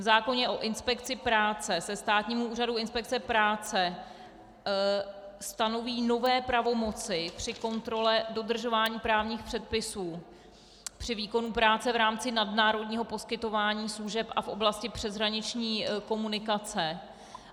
V zákoně o inspekci práce se Státnímu úřadu inspekce práce stanoví nové pravomoci při kontrole dodržování právních předpisů při výkonu práce v rámci nadnárodního poskytování služeb a v oblasti přeshraniční komunikace.